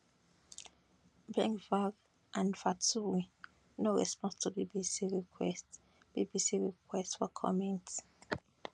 bengvir and vaturi no respond to bbc requests bbc requests for commint